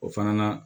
O fana na